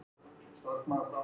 Hugur Svenna er á fleygiferð.